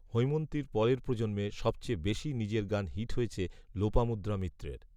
হৈমন্তীর পরের প্রজন্মে সবচেয়ে বেশি নিজের গান হিট হয়েছে লোপামুদ্রা মিত্রের